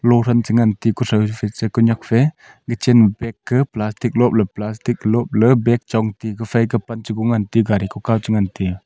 loran chu nam thik kisao chi ku nyak pe kuchan bage ge plastik lop le plastik ley bage chong ti kufai kap pe kan che gari kukao chu ngan tiya.